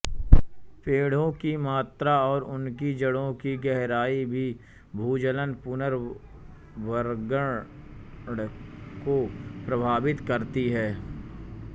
पेड़ों की मात्रा और उनकी जड़ों की गहराई भी भूजल पुनर्भरण को प्रभावित करती है